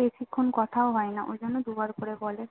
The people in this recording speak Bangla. বেশিক্ষন কথা ও হয় না ওই জন্য দুবার করে বলে